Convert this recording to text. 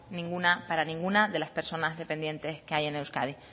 ninguna para ninguna de las personas dependientes que hay en euskadi